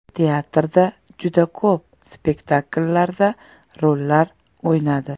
Teatrda juda ko‘p spektakllarda rollar o‘ynadi.